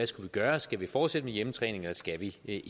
skal gøre skal vi fortsætte med hjemmetræning eller skal vi ikke